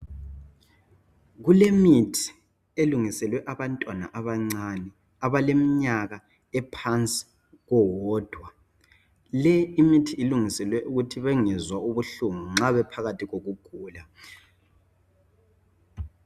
kulemithi elungiselwe abantwana abancane abalkeminyaka ephansi kowodwa l imithi ilungiselwe ukuthi bengezwa ubuhlungu nxa bephakathi kokugula